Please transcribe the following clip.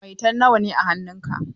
Maitan nawa ne a hannun ka?